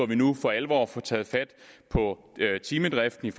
vi nu for alvor får taget fat på timedriften